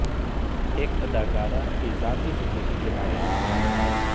ایک اداکارہ کی ذاتی زندگی کے بارے میں کچھ الفاظ